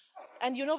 And you